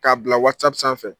K'a bila Whatsapp sanfɛ